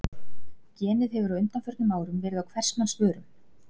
Genið hefur á undanförnum árum verið á hvers manns vörum.